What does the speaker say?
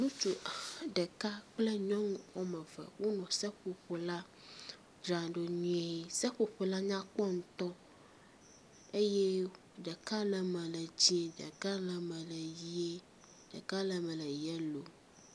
Ŋutsu ɖeka kple nyɔnu wɔme eve wonɔ seƒoƒo la dzram ɖo nyuie. Seƒoƒo la nyakpɔ ŋutɔ eye ɖeka le eme le dzi, ɖeka le eme le ʋie, ɖeka le eme le yelo.